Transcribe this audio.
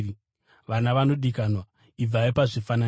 Vana vanodikanwa, ibvai pazvifananidzo.